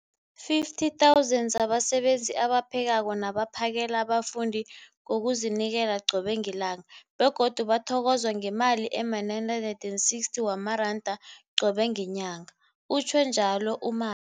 50 000 zabasebenzi abaphekako nabaphakela abafundi ngokuzinikela qobe ngelanga, begodu bathokozwa ngemali ema-960 wamaranda qobe ngenyanga, utjhwe njalo u-Ma